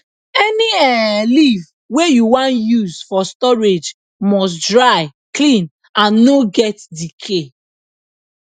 any um leaf wey you wan use for storage must dry clean and no get decay